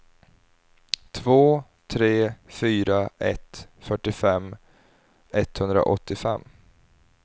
två tre fyra ett fyrtiofem etthundraåttiofem